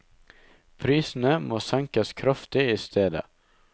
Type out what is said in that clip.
Prisene må senkes kraftig i stedet.